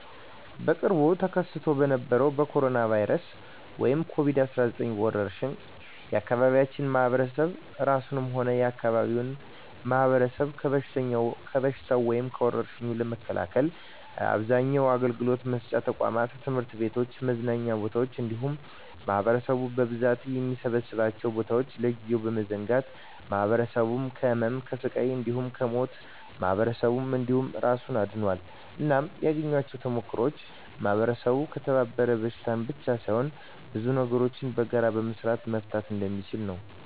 በቅርቡ ተከስቶ በነበረዉ በኮሮና(ኮቪድ 19) ወረርሽ የአካባቢያችን ማህበረሰብ እራሱንም ሆነ የአካባቢውን ማህበረሰብ ከበሽታዉ (ከወርሽኙ) ለመከላከል አብዛኛዉን አገልግሎት መስጫ ተቋማት(ትምህርት ቤቶችን፣ መዝናኛ ቦታወችን እንዲሁም ማህበረሰቡ በብዛት የሚሰበሰብባቸዉን ቦታወች) ለጊዜዉ በመዝጋት ማህበረሰቡን ከህመም፣ ከስቃይ እንዲሁም ከሞት ማህበረሰብን እንዲሁም እራሱን አድኗል። እናም ያገኘኋቸዉ ተሞክሮወች ማህበረሰቡ ከተባበረ በሽታን ብቻ ሳይሆን ብዙ ነገሮችን በጋራ በመስራት መፍታት እንደሚችል ነዉ።